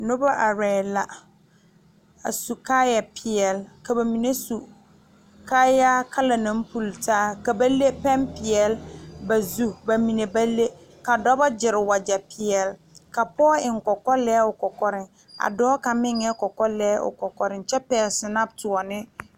Nobɔ laŋ arɛɛŋ a yɛre bonpeɛne kyɛ eŋ kɔkɔ marehi ka pɔgɔ are pɛgle mikrofoone tɔgle dao noɔreŋ kyɛ kaa dao pɛgle kɔlbaa aneŋ daa.